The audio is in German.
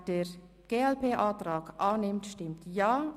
Wer den glp-Antrag annimmt, stimmt Ja.